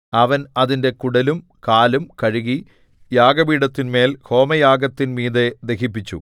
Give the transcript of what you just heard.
അവൻ അതിന്റെ കുടലും കാലും കഴുകി യാഗപീഠത്തിന്മേൽ ഹോമയാഗത്തിൻ മീതെ ദഹിപ്പിച്ചു